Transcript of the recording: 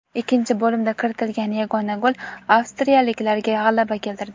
Ikkinchi bo‘limda kiritilgan yagona gol avstriyaliklarga g‘alaba keltirdi.